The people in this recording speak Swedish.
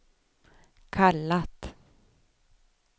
kallat